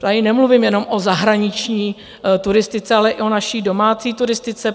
Tady nemluvím jenom o zahraniční turistice, ale i o naší domácí turistice.